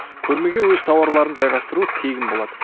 көрмеге өз тауарлырын жайғастыру тегін болады